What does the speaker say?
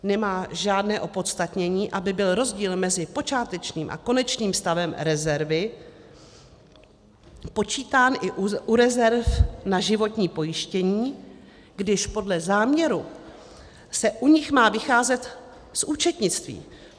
Nemá žádné opodstatnění, aby byl rozdíl mezi počátečním a konečným stavem rezervy počítán i u rezerv na životní pojištění, když podle záměru se u nich má vycházet z účetnictví.